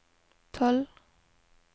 tolv